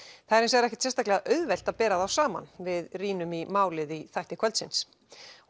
það er hins vegar ekkert sérstaklega auðvelt að bera þá saman við rýnum í málið í þætti kvöldsins